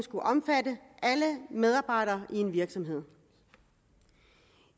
omfatter alle medarbejdere i en virksomhed